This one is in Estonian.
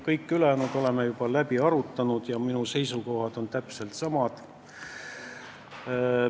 Kõik ülejäänud teemad oleme juba läbi arutanud ja minu seisukohad on täpselt samad.